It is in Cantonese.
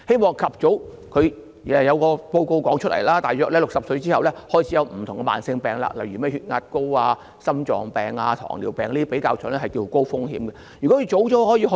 過去亦有報告指出，我們大約在65歲後開始便會有不同的慢性疾病，例如高血壓、心臟病、糖尿病這些比較高風險的疾病。